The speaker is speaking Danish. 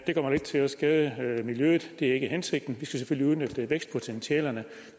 det kommer ikke til at skade miljøet det er ikke hensigten vi skal selvfølgelig udnytte vækstpotentialerne